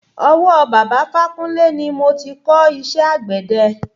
Ọwọ́ bàbá ifákúnle ni mo ti kò iṣẹ́ àgbẹ̀de.